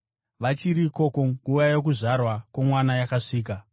Vachiri ikoko, nguva yokuzvarwa kwomwana yakasvika,